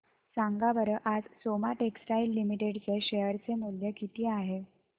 सांगा बरं आज सोमा टेक्सटाइल लिमिटेड चे शेअर चे मूल्य किती आहे